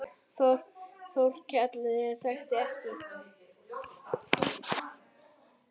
Þórkell þekkti ekki.